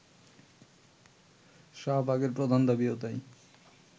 শাহবাগের প্রধান দাবিও তাই